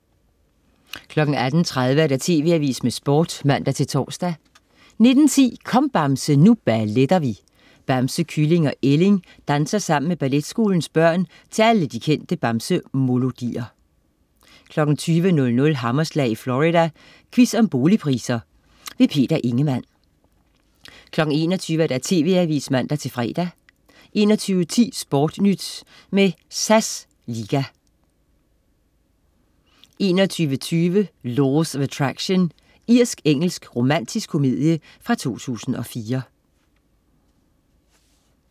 18.30 TV AVISEN med Sport (man-tors) 19.10 Kom Bamse, nu balletter vi! Bamse, Kylling og Ælling danser sammen med Balletskolens børn til alle de kendte Bamse-molodier 20.00 Hammerslag i Florida. Quiz om boligpriser. Peter Ingemann 21.00 TV AVISEN (man-fre) 21.10 SportNyt med SAS liga 21.20 Laws of Attraction. Irsk-engelsk romantisk komedie fra 2004